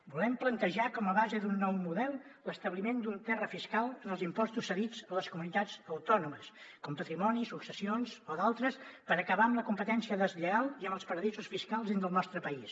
volem plantejar com a base d’un nou model l’establiment d’un terra fiscal en els impostos cedits a les comunitats autònomes com patrimoni successions o d’altres per acabar amb la competència deslleial i amb els paradisos fiscals dins del nostre país